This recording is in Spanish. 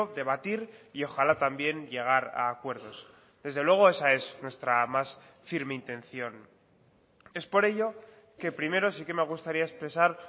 debatir y ojalá también llegar a acuerdos desde luego esa es nuestra más firme intención es por ello que primero sí que me gustaría expresar